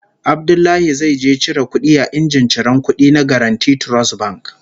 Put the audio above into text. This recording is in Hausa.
Abdullahi zai je cire kudi a injin ciran kudi na Guaranty Trust Bank